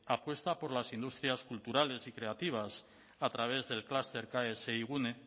apuesta por las industrias culturales y creativas a través del clúster ksigune